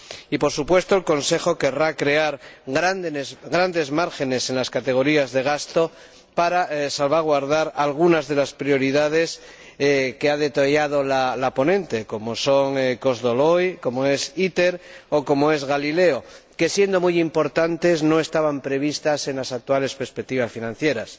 Y, por supuesto, el Consejo querrá crear grandes márgenes en las categorías de gasto para salvaguardar algunas de las prioridades que ha detallado la ponente, como son Kozloduy, ITER o Galileo, que, siendo muy importantes, no estaban previstas en las actuales perspectivas financieras.